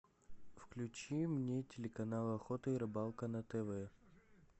включи мне телеканал охота и рыбалка на тв